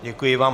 Děkuji vám.